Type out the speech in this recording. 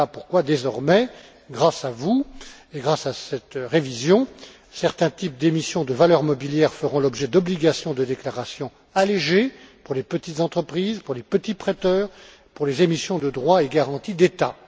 Voilà pourquoi, désormais, grâce à vous et grâce à cette révision, certains types d'émissions de valeurs mobilières feront l'objet d'obligations de déclarations allégées pour les petites entreprises, pour les petits prêteurs, pour les émissions de droits et garanties d'État.